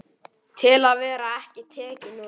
Til að vera ekki tekinn úr leik.